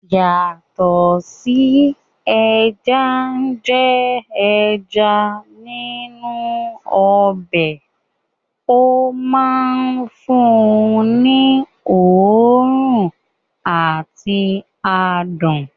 Yàtọ̀ sí ẹja ń jẹ́ ẹja nínú ọbẹ̀, ó máa ń fún un ní òórùn àti adùn sí i